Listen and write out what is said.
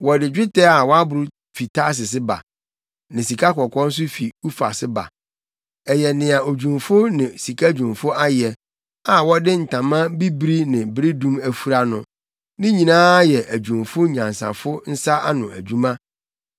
Wɔde dwetɛ a wɔaboro fi Tarsis ba, ne sikakɔkɔɔ nso fi Ufas ba. Ɛyɛ nea odwumfo ne sika dwumfo ayɛ a wɔde ntama bibiri ne beredum afura no, ne nyinaa yɛ adwumfo anyansafo nsa ano nnwuma.